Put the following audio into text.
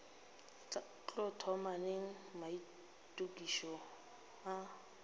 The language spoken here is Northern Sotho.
tlo thoma neng maitokišo a